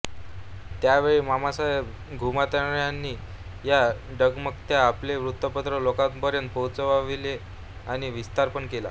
त्यावेळी मामासाहेब घुमऱ्यांनी न डगमगता आपले वृत्तपत्र लोकांपर्यंत पोहोचविले आणि विस्तार पण केला